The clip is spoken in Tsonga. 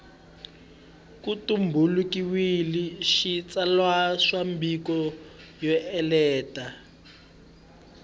ku tumbuluxiwile xitsalwambiko xo enela